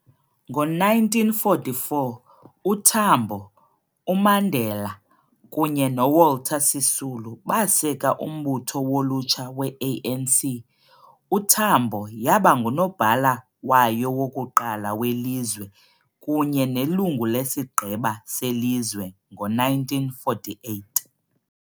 Ngo-1944, uTambo, uMandela kunye noWalter Sisulu baseka umbutho wolutsha we-ANC, uTambo yaba nguNobhala wayo wokuqala welizwe kunye nelungu leSigqeba seLizwe ngo-1948.